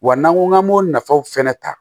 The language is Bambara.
Wa n'an ko k'an b'o nafaw fɛnɛ ta